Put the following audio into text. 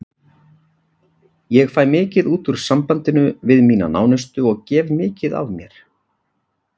Ég fæ mikið út úr sambandinu við mína nánustu og gef mikið af mér.